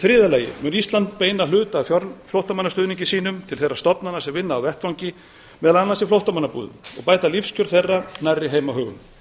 þriðja lagi mun ísland beina hluta af flóttamannastuðningi sínum til þeirra stofnana sem vinna á vettvangi meðal annars í flóttamannabúðum og bæta lífskjör þeirra nærri heimahögum